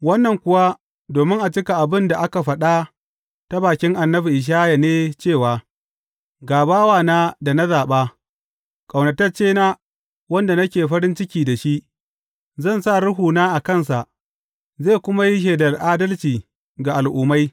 Wannan kuwa domin a cika abin da aka faɗa ta bakin annabi Ishaya ne cewa, Ga bawana da na zaɓa, ƙaunataccena, wanda nake farin ciki da shi; zan sa Ruhuna a kansa, zai kuma yi shelar adalci ga al’ummai.